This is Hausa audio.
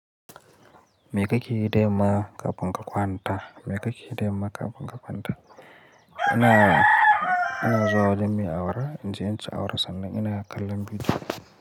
Me kake yi da yamma kafun ka kwanta. Me kake yi da yamma kafun ka kwanta? Ina, ina zuwa wajen me awara inje inci awara sannan ina kallan bidiyo.